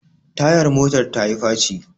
Tayan motar tayi faci